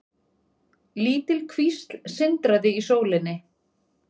Lítil kvísl sindraði í sólinni.